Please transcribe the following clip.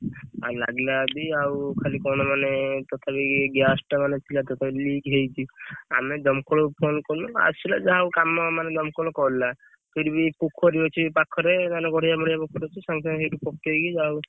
ଆଉ ଲାଗିଲା ଯଦି ଆଉ ଖାଲି କଣ ମାନେ ତଥାପି ଏଇ gas ଟା ମାନେ ପୁରା totaly lick ହେଇଛି। ଆମେ ଦମକଳକୁ Phone କଲୁ ଆସିଲା ଯାହା ହଉ କାମ ମାନେ ଦମକଳ କଲା। ସେଇଠି ବି ପୋଖରୀ ଅଛି ପାଖରେ ମାନେ ଗଡିଆ ମଡିଆ ପୋଖରୀ ଅଛି ସାଙ୍ଗେ ସାଙ୍ଗେ ସେଇଠି ପକେଇକି ଯାହା ହଉ